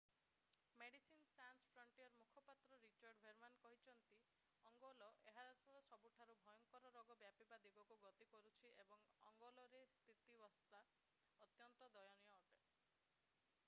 Medicines Sans ଫ୍ରଣ୍ଟିଅର୍‌ର ମୁଖପାତ୍ର Richard Veerman କହିଛନ୍ତି ‘‘ଅଙ୍ଗୋଲା ଏହାର ସବୁଠାରୁ ଭୟଙ୍କର ରୋଗ ବ୍ୟାପିବା ଦିଗକୁ ଗତି କରୁଛି ଏବଂ ଅଙ୍ଗୋଲାରେ ସ୍ଥିତାବସ୍ଥା ଅତ୍ୟନ୍ତ ଦୟନୀୟ ଅଟେ’’।